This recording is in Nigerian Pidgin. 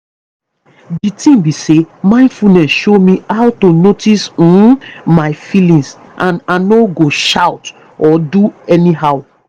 di tin be say mindfulness show me how to notice um my feelings and ano go shout or do anyhow